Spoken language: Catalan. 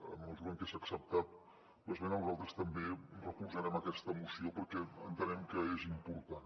en la mesura en què s’ha acceptat l’esmena nosaltres també recolzarem aquesta moció perquè entenem que és important